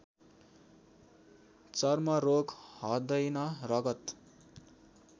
चर्मरोग हदैन रगत